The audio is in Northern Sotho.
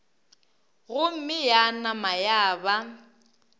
gomme ya nama ya ba